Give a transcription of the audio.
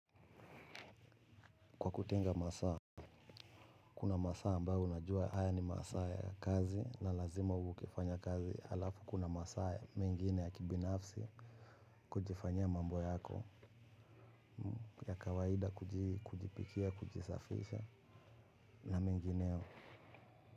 Kwa kutenga masaa kuna masaa ambao unajua haya ni masaa ya kazi na lazima ukifanya kazi alafu kuna masaa. Mengine ya kibinafsi kujifanyia mambo yako ya kawaida kujipikia kujisafisha na mengineo.